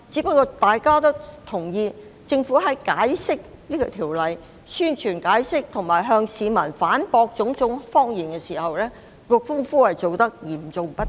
不過，大家均認同政府在宣傳和解釋修訂條例上，以及向市民反駁種種謊言時，工夫做得嚴重不足。